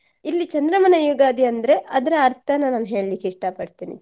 ಇಲ್ಲಿ ಚಂದ್ರಮಾನ ಯುಗಾದಿ ಅಂದ್ರೆ ಅದರ ಅರ್ಥನ ನಾನ್ ಹೇಳಲಿಕ್ಕೆ ಇಷ್ತಾ ಪಡ್ತೇನೆ.